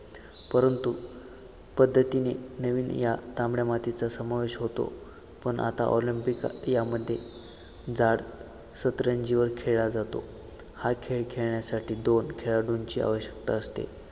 परंतु पद्धतीने नवीन या तांबड्या मातीचा समावेश होतो पण आता ऑलंम्पिक यामध्ये जाड सतरंजीवर खेळला जातो हा खेळ खेळण्यासाठी दोन खेळाडूंची आवश्यकता असते